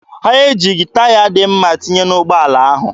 Ha ejighị taya dị mma tinye n'ụgbọala ahụ.